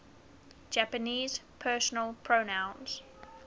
japanese personal pronouns